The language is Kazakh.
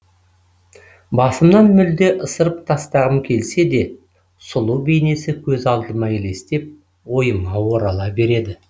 басымнан мүлде ысырып тастағым келсе де сұлу бейнесі көз алдыма елестеп ойыма орала береді